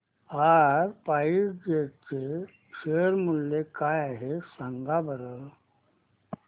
आज SpiceJet चे share मूल्य काय आहे सांगा बरं